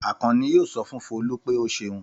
Àkànní yóò sọ fún Folú pé ó ṣeun.